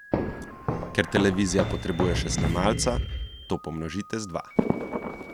Ker televizija potrebuje še snemalca, to pomnožite z dva.